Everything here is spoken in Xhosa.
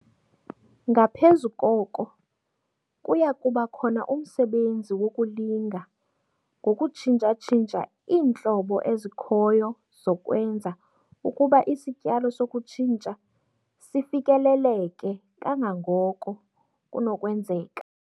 Ngaphezu koko, kuya kuba khona umsebenzi wokulinga ngokutshintsha-tshintsha iintlobo ezikhoyo zokwenza ukuba isityalo sokutshintsha sifikeleleke kangangoko kunokwenzeka.